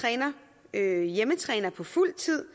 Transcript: at hjemmetræner på fuld tid